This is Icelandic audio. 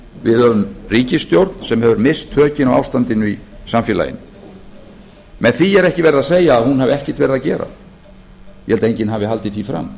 við höfum ríkisstjórn sem hefur misst tökin á ástandandinu í samfélaginu með því er ekki verið að segja að hún hafi ekkert verið að gera ég held að enginn hafi haldið því fram